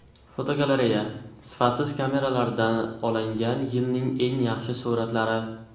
Fotogalereya: Sifatsiz kameralarda olingan yilning eng yaxshi suratlari.